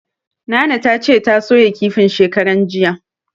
Nana tace ta soya kifin shekaran jiya.